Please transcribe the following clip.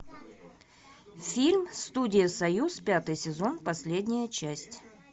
фильм студия союз пятый сезон последняя часть